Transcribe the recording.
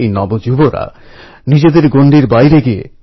সরফোরশি কি তমন্না অব হামারে দিল মে হ্যায়